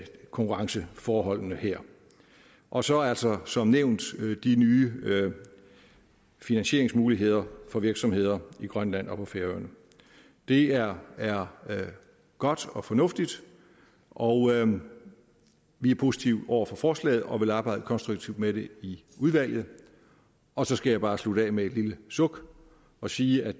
konkurrenceforholdene her og så altså som nævnt de nye finansieringsmuligheder for virksomheder i grønland og på færøerne det er er godt og fornuftigt og vi er positive over for forslaget og vil arbejde konstruktivt med det i udvalget og så skal jeg bare slutte af med et lille suk og sige at